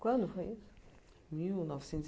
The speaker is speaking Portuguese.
Quando foi isso? Mil novecentos e